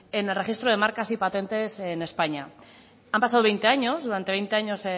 en el registro de marcas y patentes en españa han pasado veinte años durante veinte años